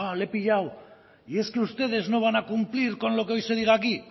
le he pillado y es que ustedes no van a cumplir con lo que hoy se diga aquí